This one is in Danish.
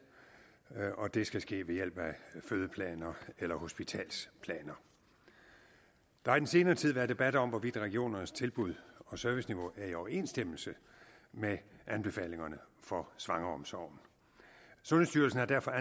og det skal ske ved hjælp af fødeplaner eller hospitalsplaner der har den senere tid været debat om hvorvidt regionernes tilbud og serviceniveau er i overensstemmelse med anbefalingerne for svangreomsorgen sundhedsstyrelsen har derfor